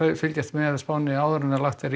fylgjast með spánni áður en lagt er í